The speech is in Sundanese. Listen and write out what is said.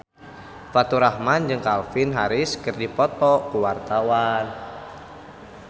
Faturrahman jeung Calvin Harris keur dipoto ku wartawan